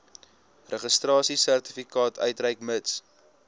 registrasiesertifikaat uitreik mits